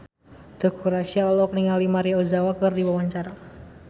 Teuku Rassya olohok ningali Maria Ozawa keur diwawancara